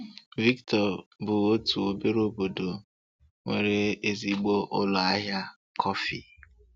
Victor bụ otu obere obodo nwere ezigbo ụlọ ahịa kọfị.